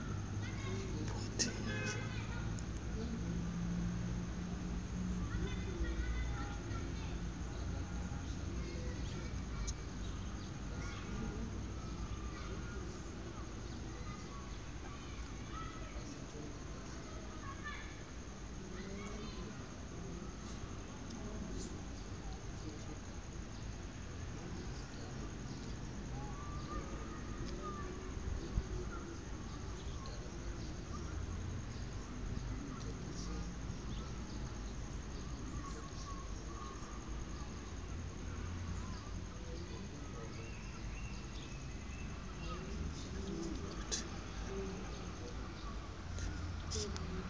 iibhotile zakwa mead